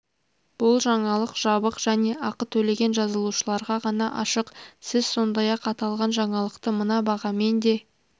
бұл жаңалық жабық және ақы төлеген жазылушыларға ғана ашық сіз сондай-ақ аталған жаңалықты мына бағамен де